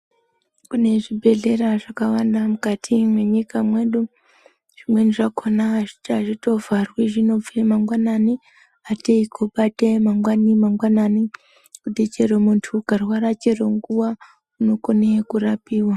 Kune zvibhedhleya zvakawanda mukati mwenyika medu, zvimweni zvakhona hazvitovhari, zvinobve mangwanani ateyi kobate mangwani mangwanani, kuti chero muntu ukarwara chero nguwa, unokone kurapiwa.